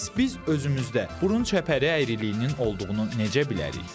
Bəs biz özümüzdə burun çəpəri əyriliyinin olduğunu necə bilərik?